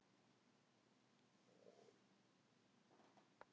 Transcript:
Frekara lesefni á Vísindavefnum: Hvaða sjúkdómar eru algengastir í þróunarlöndunum?